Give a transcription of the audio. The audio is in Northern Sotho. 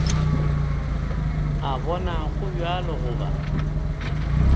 a bona go bjalo goba